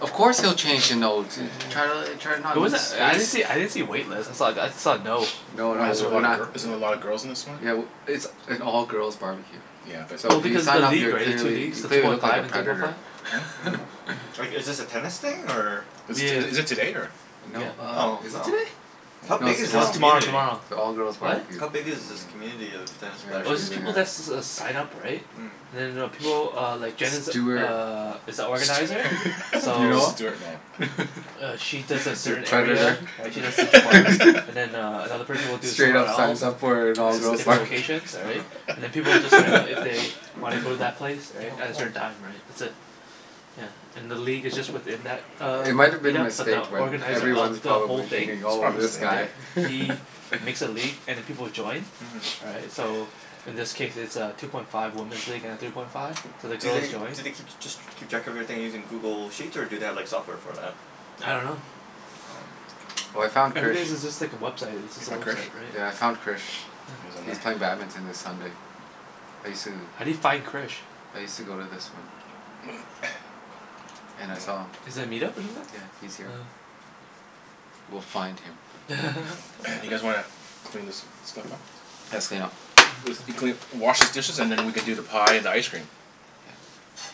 Of course he'll change to no, to try to l- try Yeah. not It to lose wasn't, I didn't see, face. I didn't see a wait list. I saw, I saw a no. No, no, Why is That's there a what we're lot I of not gir- heard. is there a lot of girls in this one? Yeah, w- it's an all girls barbecue. Yeah, but So Well, if you because of the sign up league, you're right? The two clearly, leagues. you The two clearly point look like a five and three point five. predator. Huh? Mm. Like, is this a tennis thing, or Is this is is it today, or No, Yeah. uh Oh, is it oh. today? How I don't No, big it's is this No, know. tomorrow. Me tomorrow community? tomorrow. It's an all girls What? barbecue. How big is this Mm. community of tennis Here, I'll players? Oh, show it's you just the people that guy. s- s- s- sign up, right? Mm. And then I know people uh, like Jen is Stewart Stew- uh, is a organizer. Stu- Do you So know Stuart? No. him? uh she does a A certain area. predator. Right? She does Mhm. Central Park. And then uh another person will do Straight somewhere up else. signs up for an And all it's girls different barbecue. locations, all right? uh-huh. And then people will just sign up if they wanna go to that place, right? Oh, As cool. her dime, right. That's it. Yeah. And the league is just within that uh, It might have been a meet-up but mistake, the but Yeah. organizer of everyone's It's the probably probably whole thing thinking, "Oh, a this Mhm. mistake. guy." right? He makes a league and then people will join Mhm. right? So in this case it's a two point five woman's league and a three point five. So the Do girls they, joy do they keep, just keep track of everything using Google Sheets, or do they have like software for that? I dunno. Oh. Oh, I found Krish. Everything's is just like a website. It's You just a find Krish? website, Yeah, I right? found Krish. He's Yeah. on He's there? playing badminton this Sunday. I sue How do you find Krish? I used to go to this one. And I saw him. Yeah. Is that a meet-up or something? Yeah, he's here. Oh. We'll find him. You guys wanna clean this stuff up? Let's clean up. If you clean, wash these dishes and then we can do the pie and ice cream. Yeah.